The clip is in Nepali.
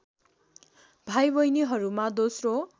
भाइ बहिनीहरूमा दोस्रो